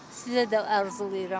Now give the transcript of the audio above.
Sizə də arzulayıram.